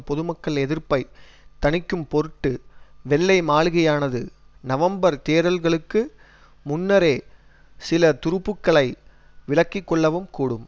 பொதுமக்கள் எதிர்ப்பை தணிக்கும்பொருட்டு வெள்ளை மாளிகையானது நவம்பர் தேர்தல்களுக்கு முன்னரே சிலதுருப்புக்களை விலக்கி கொள்ளவும் கூடும்